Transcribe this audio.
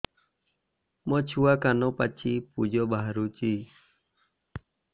ମୋ ଛୁଆ କାନ ପାଚି ପୂଜ ବାହାରୁଚି